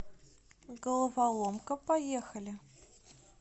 головоломка поехали